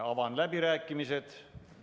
Avan läbirääkimised.